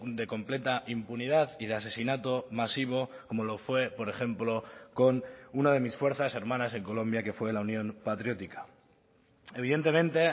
de completa impunidad y de asesinato masivo como lo fue por ejemplo con uno de mis fuerzas hermanas en colombia que fue la unión patriótica evidentemente